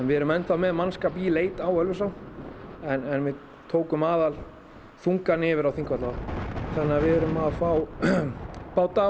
við erum enn þá með mannskap í leit á Ölfusá en við tókum aðalþungann yfir á Þingvallavatn þannig að við erum að fá báta